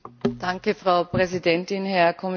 Frau Präsidentin, Herr Kommissar!